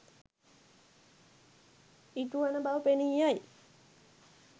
ඉටුවන බව පෙනී යයි.